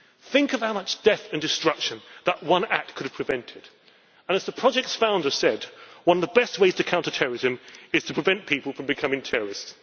Think of how much death and destruction that one act could have prevented and as the project's founder said, one of the best ways to counter terrorism is to prevent people from becoming terrorists.